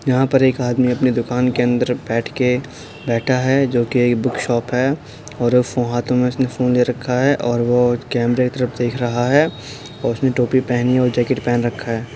यहाँ पर एक आदमी अपनी दुकान के अंदर बैठ के बैठा है जो कि एक बुक शॉप है और फो हाथों में उसने फोन ले रखा है और वो कैमरे के तरफ देख रहा है और उसने टोपी पहनी है और जैकेट पहन रखा है।